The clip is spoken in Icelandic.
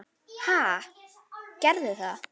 Ha, gerðu það.